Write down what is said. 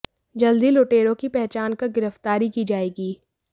जल्द ही लुटेरों की पहचान कर गिरफ्तारी की जाएगी